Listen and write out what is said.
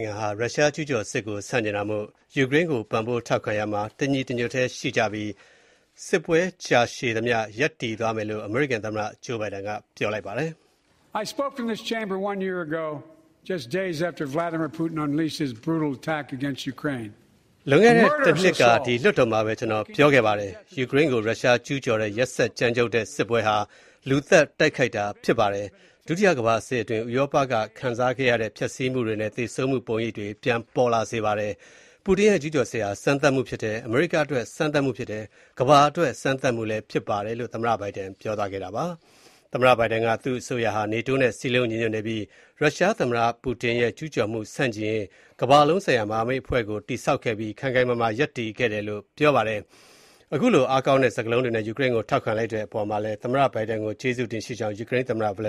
င်စုဟာ ရုရှားကျူးကျောင်းစစ်ကို ဆန့်ကျင်တဲ့အတိုင်း ယူကရိန်းကို ပံ့ပိုးထောက်ခံရာမှာ တညီတညွတ်တည်းရှိကြပြီး၊ စစ်ပွဲကြာသမျှ ယူကရိန်းနဲ့အတူ ရပ်တည်သွားလိမ့်မယ် ဖြစ်တယ်လို့ အမေရိကန်သမ္မတဂျိုးဘိုင်ဒန် (Joe Biden) က ပြောပါတယ်။ “လွန်ခဲ့တဲ့ တစ်နှစ်က ဒီလွှတ်တော်မှာပဲ ကျွန်တော် ပြောခဲ့ပါတယ်။ ယူကရိန်းကို ရုရှားကျူးကျော်ခဲ့တဲ့ ရက်စက်ကြမ်းကြုတ်တဲ့စစ်ပွဲဟာ လူသတ် တိုက်ခိုက်တာ ဖြစ်တယ်။ ဒုတိယကမ္ဘာစစ်အတွင်း ဥရောပက ခံစားခဲ့ရတဲ့ ဖျက်ဆီးမှုတွေနဲ့ သေဆုံးမှု ပုံရိပ်တွေ ပြန်ပေါ်လာစေပါတယ်။ ပူတင်ရဲ့ ကျူးကျော်စစ်ဟာ စမ်းသပ်မှု ဖြစ်တယ်။ အမေရိကအတွက် စမ်းသပ်မှု ဖြစ်တယ်။ ကမ္ဘာအတွက် စမ်းသပ်မှု ဖြစ်တယ်” လို့ သမ္မတဘိုင်ဒန်က ပြောသွားခဲ့တာပါ။ သူ့အစိုးရဟာ နေတိုးနဲ့ စည်းလုံးညီညွတ်နေပြီး၊ ရုရှားသမ္မတ ပူတင်ရဲ့ ကျူးကျော်မှု ဆန့်ကျင်ရေး ကမ္ဘာလုံးဆိုင်ရာ မဟာမိတ်အဖွဲ့ကို တည်ဆောက်ခဲ့ပြီး၊ ခိုင်ခိုင်မာမာ ရပ်တည်ခဲ့တယ်လို့ သမ္မတဘိုင်ဒန်က ပြောပါတယ်။ ခုလို အားကောင်းတဲ့ စကားလုံးတွေနဲ့ ယူကရိန်းကို ထောက်ခံလိုက်တဲ့အတွက် သမ္မတဘိုင်ဒန်ကို ကျေးဇူးတင်ရှိကြောင်း ယူကရိန်း သမ္မတ ဗလ